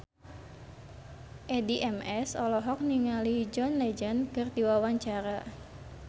Addie MS olohok ningali John Legend keur diwawancara